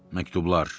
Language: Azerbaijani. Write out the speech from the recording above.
Məktublar.